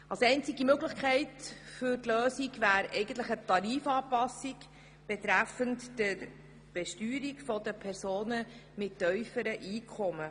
Die einzige Möglichkeit ist eine Tarifanpassung betreffend die Besteuerung von Personen mit tiefen Einkommen.